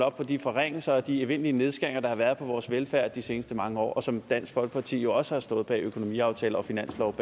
op på de forringelser og de evindelige nedskæringer der har været på vores velfærd de seneste mange år og som dansk folkeparti jo også har stået bag gennem økonomiaftaler og finanslove